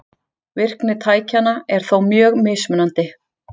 Virkni tækjanna er þó mjög mismunandi.